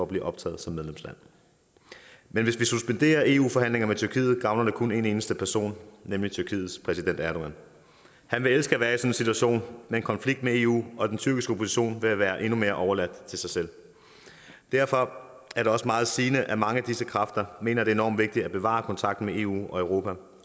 blive optaget som medlemsland men hvis vi suspenderer eu forhandlingerne med tyrkiet gavner det kun en eneste person nemlig tyrkiets præsident erdogan han vil elske at være i situation med en konflikt med eu og den tyrkiske opposition vil være endnu mere overladt til sig selv derfor er det også meget sigende at mange af disse kræfter mener det er enormt vigtigt at bevare kontakten med eu og europa